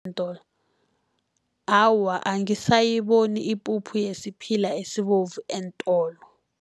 Awa, angisayiboni ipuphu yesiphila esibovu eentolo.